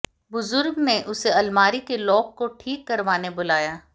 बुजुर्ग ने उसे अलमारी के लॉक को ठीक करवाने बुलाया